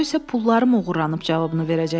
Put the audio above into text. O isə pullarım oğurlanıb cavabını verəcəkdi.